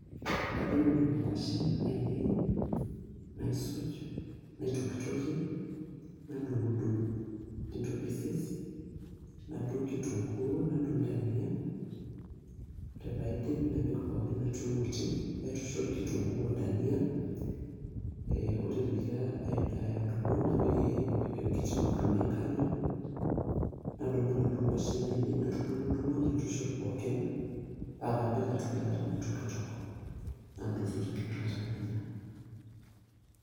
Kadung'dung inkwashen ainei naisuj , naitokitokie , nadung'dung' into pieces nadung' kitunkuu, nadung' ndania , ore paidip napik pookin atua emoti , naitushul kitunkuu odania, ee ore peyie , adumu napik enkiti kurma enkano , nadumu inaduo kwashen ainei natudung'udungo paa kapik atua eilata naitoktok, nadotu taa inakata nanya .